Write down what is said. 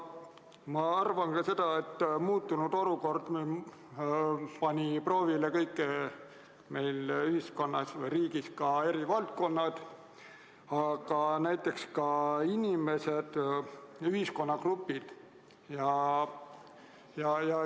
Ma arvan ka seda, et muutunud olukord pani riigis proovile kõik eri valdkonnad, aga näiteks ka inimesed, ühiskonnagrupid.